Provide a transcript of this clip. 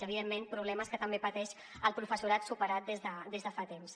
evidentment problemes que també pateix el professorat superat des de fa temps